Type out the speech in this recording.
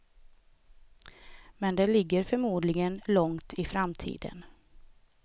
Men det ligger förmodligen långt i framtiden.